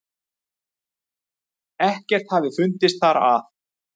Ekkert hafi fundist þar að